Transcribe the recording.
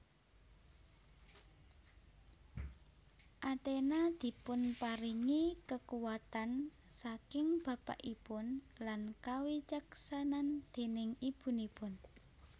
Athena dipunparingi kekuwatan saking bapakipun lan kawicaksanan déning ibunipun